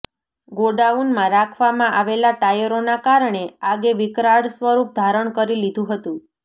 ગોડાઉનમાં રાખવામાં આવેલાં ટાયરોના કારણે આગે વિકરાળ સ્વરૂપ ધારણ કરી લીધું હતું